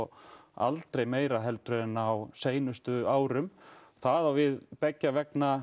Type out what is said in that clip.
aldrei meira heldur en á seinustu árum það á við beggja vegna